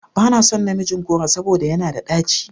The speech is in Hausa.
Ba na son namijin goro saboda yana da ɗaci.